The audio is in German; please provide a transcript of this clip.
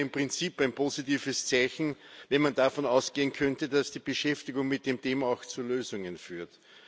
Das wäre im Prinzip ein positives Zeichen, wenn man davon ausgehen könnte, dass die Beschäftigung mit dem Thema auch zu Lösungen führt.